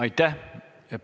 Aitäh!